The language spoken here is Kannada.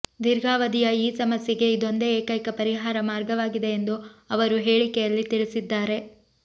ದೀರ್ಘಾವಧಿಯ ಈ ಸಮಸ್ಯೆಗೆ ಇದೊಂದೇ ಏಕೈಕ ಪರಿಹಾರ ಮಾರ್ಗವಾಗಿದೆ ಎಂದು ಅವರು ಹೇಳಿಕೆಯಲ್ಲಿ ತಿಳಿಸಿದ್ದಾರೆ